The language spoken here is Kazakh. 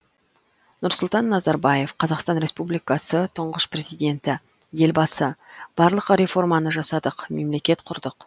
нұрсұлтан назарбаев қазақстан республикасы тұңғыш президенті елбасы барлық реформаны жасадық мемлекет құрдық